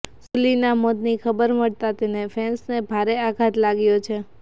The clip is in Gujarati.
સુલીના મોતની ખબર મળતા તેને ફેન્સને ભારે આઘાત લાગ્યો છે